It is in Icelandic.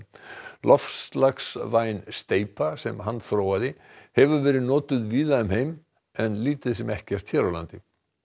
loftslagsvæn steypa sem hann þróaði hefur verið notuð víða um heim en lítið sem ekkert hér á landi